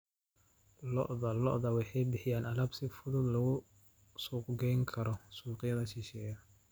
Lo'da lo'da waxay bixiyaan alaab si fudud loogu suuq gayn karo suuqyada shisheeye.